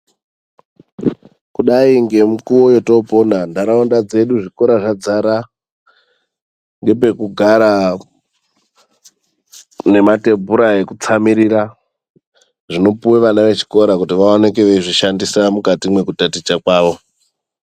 Kudai ngemukuwo yotoopona nharaunda dzedu zvikora zvadzara ngepekugara nematebhura ekutsamirira zvinopuwe vana vechikora kuti vaoneke veizvishandisa mukati mekutaticha kwawo.